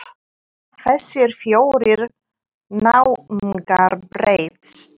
Hafa þessir fjórir náungar breyst?